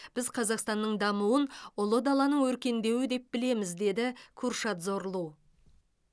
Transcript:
біз қазақстанның дамуын ұлы даланың өркендеуі деп білеміз деді куршад зорлу